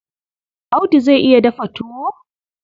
Audu zai iya dafa tuwo?